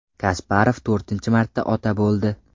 Kasparov to‘rtinchi marta ota bo‘ldi.